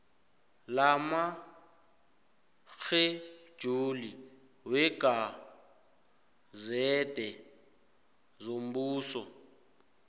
lamatjhejuli wegazede yombuso